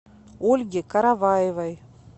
ольги караваевой